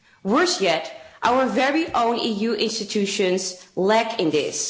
Worse yet, our very own EU institutions lack in this.